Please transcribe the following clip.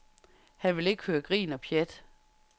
Han vil ikke høre grin og pjat.